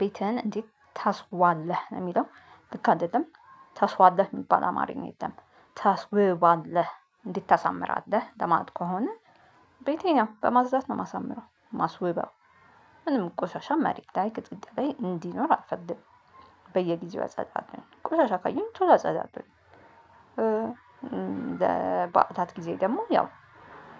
ቤትህን እንዴት ታስዋለህ? የሚለው ልክ አንድ አይደለም። ታስዋለህ የሚባል አማርኛ የለም። ታስውባለህ እንዴት ታሳምርአለህ ለማለት ከሆነ ቤቴን የው ነው በማጽዳት ነው የማሳምረው። ማስወባው ምንም ቆሻሻ መሬት ላይ ቅጥጥ ላይ እንዲኖር አልፈልግም። በየጊዜው አፀዳለሁኝ። ቁሳሻ ካየሁኝ ቶሎ አጸዳለሁኝ። እ ለባአታት ጊዜ ደግሞ ያው